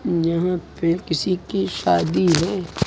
जहां पे किसी की शादी है।